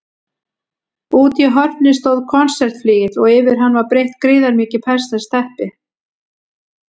Úti í horni stóð konsertflygill og yfir hann var breitt gríðarmikið persneskt teppi.